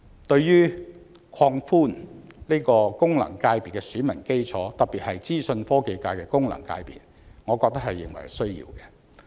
對於擴闊功能界別的選民基礎，特別是資訊科技界功能界別，我覺得實屬必要。